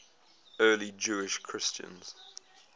early jewish christians